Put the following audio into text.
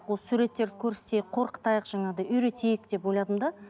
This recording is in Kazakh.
осы суреттерді көрсетейік қорқытайық жаңағыдай үйретейік деп ойладым да